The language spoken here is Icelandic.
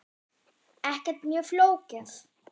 Ekkert mjög flókið.